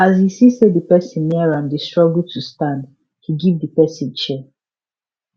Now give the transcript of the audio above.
as he see say the person near am dey struggle to stand he give the person chair